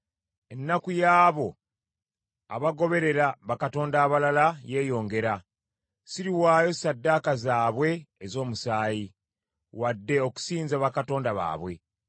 Ennaku y’abo abagoberera bakatonda abalala yeeyongera. Siriwaayo ssaddaaka zaabwe ez’omusaayi, wadde okusinza bakatonda baabwe.